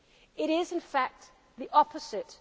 Moving Europe beyond this crisis